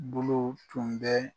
Bolow tun bɛ